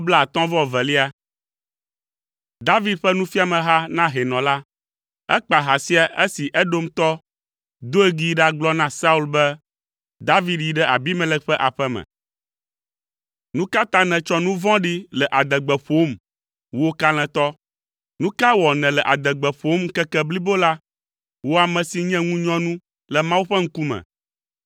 David ƒe nufiameha na hɛnɔ la. Ekpa ha sia esi Edomtɔ, Doeg yi ɖagblɔ na Saul be, “David yi ɖe Ahimelek ƒe aƒe me.” Nu ka ta nètsɔ nu vɔ̃ɖi le adegbe ƒom, wò kalẽtɔ? Nu ka wɔ nèle adegbe ƒom ŋkeke blibo la, wò ame si nye ŋunyɔnu le Mawu ƒe ŋkume?